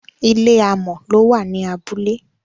ilé amò ló wà ní abúlé